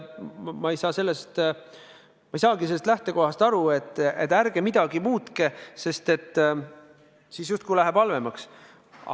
Ma ei saa sellest lähtekohast aru, et ärge midagi muutke, sest siis läheb halvemaks.